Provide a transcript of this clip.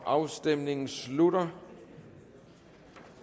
afstemningen slutter